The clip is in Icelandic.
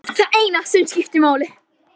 Það er það eina sem skiptir máli.